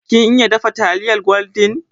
Kin iya dafa taliyar gwaldin?